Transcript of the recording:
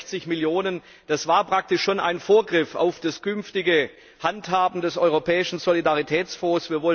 360 Millionen das war praktisch schon ein Vorgriff auf das künftige Handhaben des Europäischen Solidaritätsfonds.